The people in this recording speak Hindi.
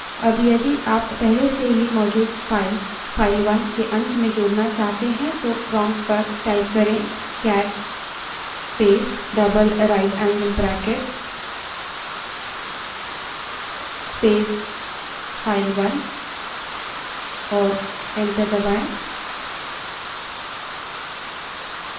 अब यदि आप पहले से मौजूद file file 1 के अंत में जोड़ना चाहते हैं तो prompt पर cat space double right angle bracket space file1 type करें और enter दबायें